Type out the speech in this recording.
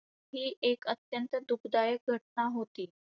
ही एक अत्यंत दुःखदायक घटना होती.